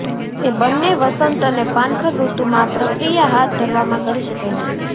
તે બંને વસંત અને પાનખર ઋતુમાં આ પ્રક્રિયા હાથ ધરવામાં કરી શકાય છે